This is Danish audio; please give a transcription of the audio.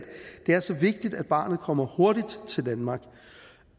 det er så vigtigt at barnet kommer hurtigt til danmark